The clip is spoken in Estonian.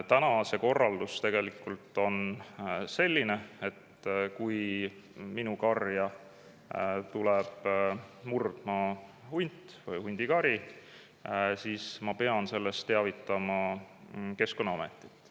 Täna on see korraldus selline, et kui minu karja tuleb murdma hunt või hundikari, siis ma pean sellest teavitama Keskkonnaametit.